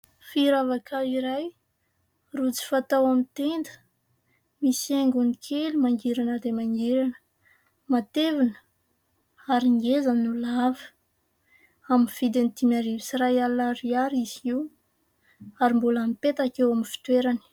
Firavaka iray rojo fatao amin'ny tena, misy haingony kely mangirana dia mangirana, matevina ary ngeza no lava. Amin'ny vidiny dimy arivo sy iray alina ariary izy io ary mipetaka eo amin'ny fitoerany.